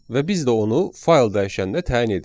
Və biz də onu fayl dəyişəninə təyin edirik.